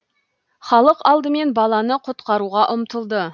халық алдымен баланы құтқаруға ұмтылды